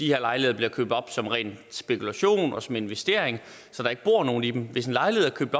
her lejligheder blive købt op som ren spekulation og som investering så der ikke bor nogen i dem hvis en lejlighed er købt